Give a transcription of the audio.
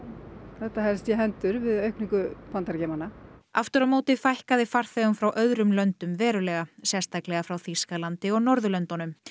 þetta haldist í hendur við aukningu Bandaríkjamanna aftur á móti fækkaði farþegum frá öðrum löndum verulega sérstaklega frá Þýskalandi og Norðurlöndunum